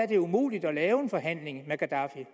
det er umuligt at lave en forhandling med gaddafi